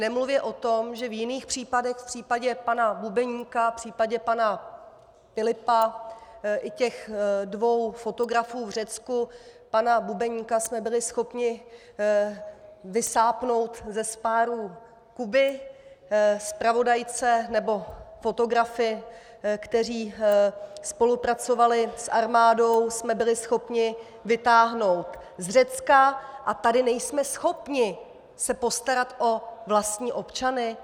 Nemluvě o tom, že v jiných případech, v případě pana Bubeníka, v případě pana Pilipa i těch dvou fotografů v Řecku - pana Bubeníka jsme byli schopni vysápnout ze spárů Kuby, zpravodajce nebo fotografy, kteří spolupracovali s armádou, jsme byli schopni vytáhnout z Řecka, a tady nejsme schopni se postarat o vlastní občany?